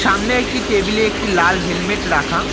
সামনে একটি টেবিল -এ একটি লাল হেলমেট রাখা।